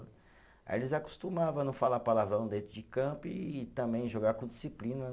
Aí eles acostumavam a não falar palavrão dentro de campo e também jogar com disciplina, né?